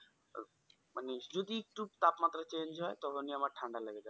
মানে যদি একটু তাপমাত্রা change হয় তখনি আমার ঠান্ডা লেগে যাই।